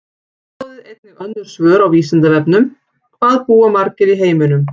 Skoðið einnig önnur svör á Vísindavefnum: Hvað búa margir í heiminum?